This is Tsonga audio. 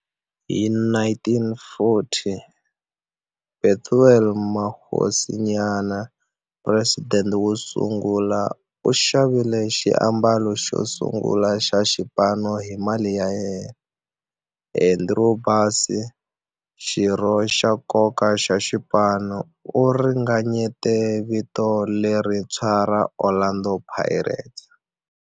Hi 1940, Bethuel Mokgosinyane, president wosungula, u xavile xiambalo xosungula xa xipano hi mali ya yena. Andrew Bassie, xirho xa nkoka xa xipano, u ringanyete vito lerintshwa ra 'Orlando Pirates'.